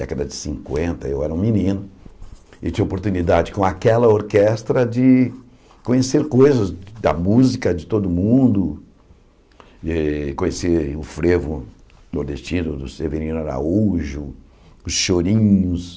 Década de cinquenta, eu era um menino e tinha oportunidade com aquela orquestra de conhecer coisas da música de todo mundo, e conhecer o frevo nordestino do Severino Araújo, os chorinhos...